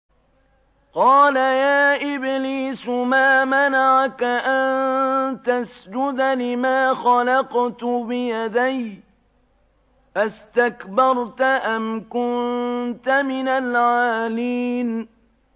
قَالَ يَا إِبْلِيسُ مَا مَنَعَكَ أَن تَسْجُدَ لِمَا خَلَقْتُ بِيَدَيَّ ۖ أَسْتَكْبَرْتَ أَمْ كُنتَ مِنَ الْعَالِينَ